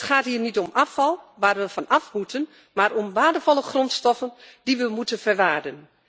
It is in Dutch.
Het gaat hier niet om afval waar we vanaf moeten, maar om waardevolle grondstoffen die we moeten verwaardigen.